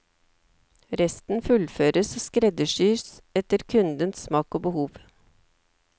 Resten fullføres og skreddersys etter kundens smak og behov.